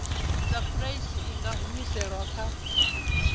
sapulasi i nga humiselwa kha